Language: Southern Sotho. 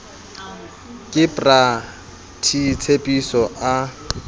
ke bra t tshepiso a